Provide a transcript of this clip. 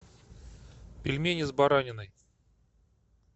пельмени с бараниной